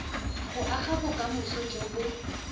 go aga bokamoso jo bo